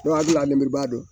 N'o y'a jira lenburuba don